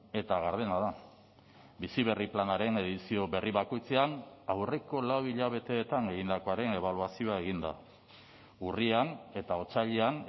eta gardena da bizi berri planaren edizio berri bakoitzean aurreko lau hilabeteetan egindakoaren ebaluazioa egin da urrian eta otsailean